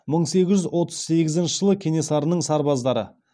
мың сегіз жүз отыз сегізінші жылы кенесарының сарбаздары